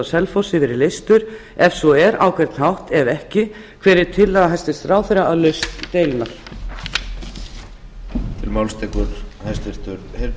selfossi verið leystur ef svo er á hvern hátt ef ekki hver er tillaga ráðherra að lausn deilunnar